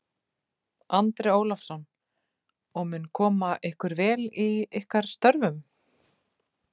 Andri Ólafsson: Og mun koma ykkur vel í ykkar störfum?